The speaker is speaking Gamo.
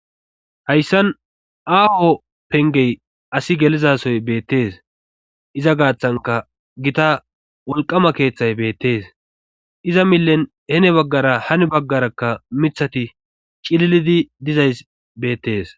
hayssan aaho pengey asi gelizasoy beettees iza gaaththanka gita wolqama keeththay beettees iza millen hene baggara hani baggaraka mithati cililidi dizays beettees